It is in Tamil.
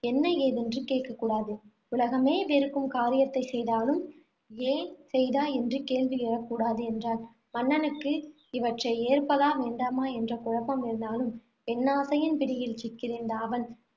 என்ன ஏதென்று கேக்கக்கூடாது. உலகமே வெறுக்கும் காரியத்தைச் செய்தாலும் ஏன் செய்தாய் என்று கேள்வி எழக்கூடாது, என்றாள். மன்னனுக்கு இவற்றை ஏற்பதா வேண்டாமா என்று குழப்பம் இருந்தாலும், பெண்ணாசையின் பிடியில் சிக்கியிருந்த அவன்